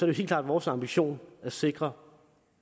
det helt klart vores ambition at sikre